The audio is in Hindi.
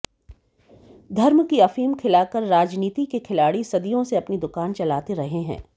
धर्म की अफीम खिलाकर राजनीति के खिलाड़ी सदियों से अपनी दुकान चलाते रहे हैं